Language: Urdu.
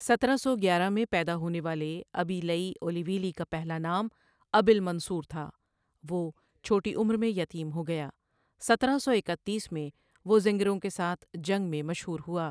سترہ سو گیارہ میں پیدا ہونے والے ابی لئی اولیولی کا پہلا نام ابیلمنصور تھا وہ چھوٹی عمر میں یتیم ہو گیا سترہ سو اکتیس میں وہ زنگروں کے ساتھ جنگ میں مشہور ہوا